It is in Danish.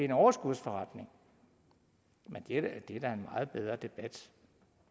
en overskudsforretning det er da en meget bedre debat